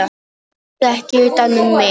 Haltu ekki utan um mig.